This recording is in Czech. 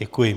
Děkuji.